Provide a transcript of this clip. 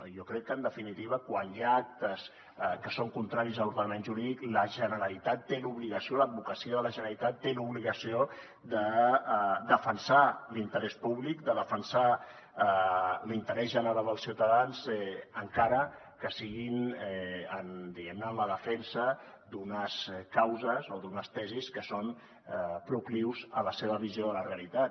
jo crec que en definitiva quan hi ha actes que són contraris a l’ordenament jurídic la generalitat té l’obligació l’advocacia de la generalitat té l’obligació de defensar l’interès públic de defensar l’interès general dels ciutadans encara que sigui diguem ne en la defensa d’unes causes o d’unes tesis que són proclius a la seva visió de la realitat